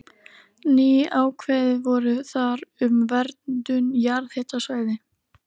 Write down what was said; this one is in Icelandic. Ný ákvæði voru þar um verndun jarðhitasvæða.